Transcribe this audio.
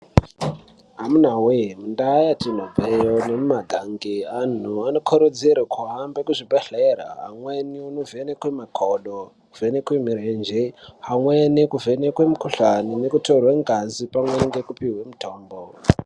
Amuna we mundau matinobva iyo nemumagange anhu anokurudzirwa kuhambe kuzvibhedhlera amweni kugwinyusa makodo kuguka murenje amweni kuvheneka mukuhlani nekutorwa ngazi pamwe nekupihwa mutombo.